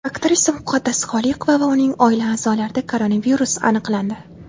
Aktrisa Muqaddas Xoliqova va uning oila a’zolarida koronavirus aniqlandi.